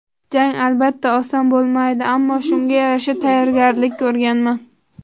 Jang, albatta, oson bo‘lmaydi, ammo shunga yarasha tayyorgarlik ko‘rganman.